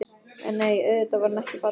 En nei, auðvitað var hann ekki fallinn.